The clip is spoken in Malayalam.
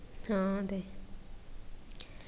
ആ അതെ